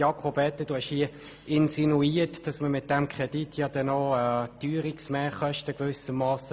Jakob Etter, du hast hier insinuiert, dass man mit diesem Kredit gewissermassen Teuerungsmehrkosten bewilligen würde.